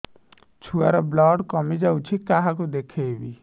ଛୁଆ ର ବ୍ଲଡ଼ କମି ଯାଉଛି କାହାକୁ ଦେଖେଇବି